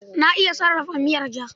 Na iya sarrafa miyar ja.